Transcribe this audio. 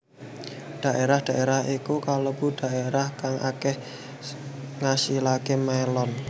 Dhaérah dhaérah iku kalebu dhaérah kang akéh ngasilaké mélon